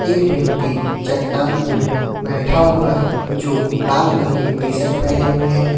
एक व्यक्ति चट्टान पे बैठा हुआ है जो लाल रंग की टी_शर्ट पहने हुए है।